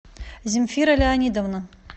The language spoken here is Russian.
земфира леонидовна